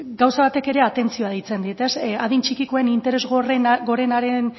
gauza batek ere atentzioa deitzen dit adin txikikoen interes gorenaren